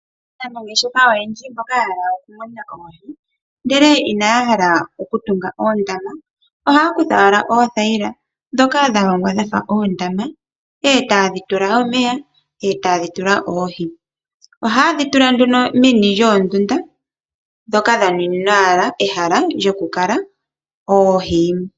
Aanangeshefa oyendji mboka haya kala ya hala oku muna oohi ndele inaya hala oondama, ohaya kutha owala oothaila ndhoka dha longwa dhafa oondama, e ta yedhi tula omeya, e ta yedhi tula oohi. Ohaye dhi tula nduno meni lyoondunda, ndhoka dha nuninwa owala ehala lyoku kala oohi.